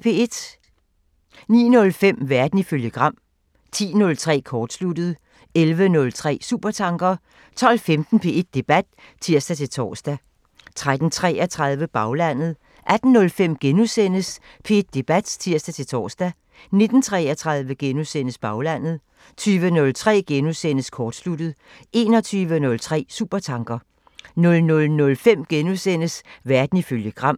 09:05: Verden ifølge Gram 10:03: Kortsluttet 11:03: Supertanker 12:15: P1 Debat (tir-tor) 13:33: Baglandet 18:05: P1 Debat *(tir-tor) 19:33: Baglandet * 20:03: Kortsluttet * 21:03: Supertanker 00:05: Verden ifølge Gram *